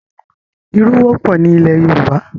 Ìrù wọ́pọ̀ ni ilẹ̀ Yorùbá.